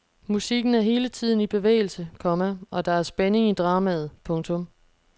Musikken er hele tiden i bevægelse, komma og der er spænding i dramaet. punktum